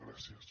gràcies